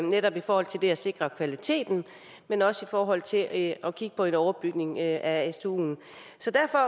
netop i forhold til at sikre kvaliteten men også i forhold til at kigge på en overbygning af stuen så derfor